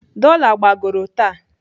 Dola gbagoro taa.